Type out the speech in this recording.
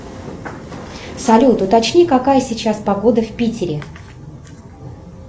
салют уточни какая сейчас погода в питере